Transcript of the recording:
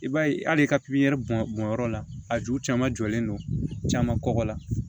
I b'a ye hali i ka bɔn bɔnyɔrɔ la a ju caman jɔlen don caman kɔgɔ la